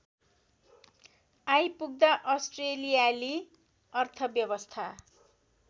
आइपुग्दा अस्ट्रेलियाली अर्थव्यवस्था